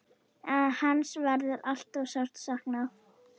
Hans verður alltaf sárt saknað.